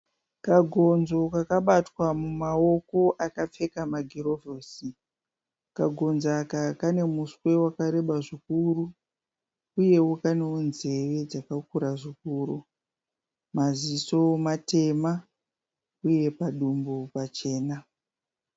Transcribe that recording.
Kagonzo kakabatwa mumaoko akapfeka magirovhosi. Kagonzo aka kane muswe wakareba zvikuru uyewo kanewo nzeve dzakakura zvikuru. Maziso matema uye padumbu pachena.